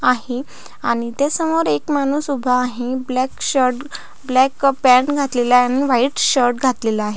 आहे आणि त्या समोर एक माणूस उभा आहे ब्लॅक शर्ट ब्लॅक पँट घातलेला आहे आणि व्हाइट शर्ट घातलेला आहे.